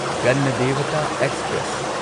Ganadevta express